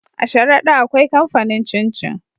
A sharada akwai kamfanin cin cin